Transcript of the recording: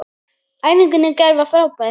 Æfingin í gær var frábær.